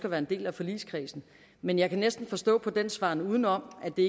at være en del af forligskredsen men jeg kan næsten forstå på den svaren udenom at det